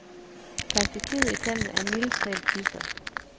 Perspektivet i tallene er mildest talt dystert.